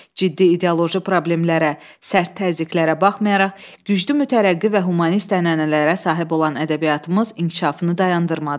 Ciddi ideoloji problemlərə, sərt təzyiqlərə baxmayaraq, güclü mütərəqqi və humanist ənənələrə sahib olan ədəbiyyatımız inkişafını dayandırmadı.